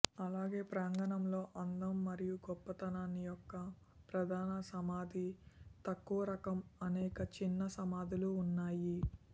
అలాగే ప్రాంగణంలో అందం మరియు గొప్పతనాన్ని యొక్క ప్రధాన సమాధి తక్కువరకం అనేక చిన్న సమాధులు ఉన్నాయి